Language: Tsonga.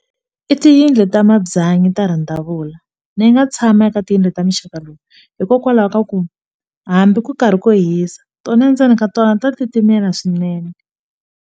I tiyindlu ta mabyanyi ta randavula ni nga tshama eka tiyindlu ta muxaka lowu hikokwalaho ka ku hambi ku karhi ku hisa tona endzeni ka tona ni ta titimela swinene.